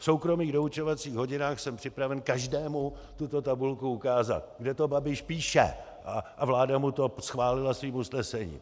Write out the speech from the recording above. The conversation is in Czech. V soukromých doučovacích hodinách jsem připraven každému tuto tabulku ukázat, kde to Babiš píše, a vláda mu to schválila svým usnesením.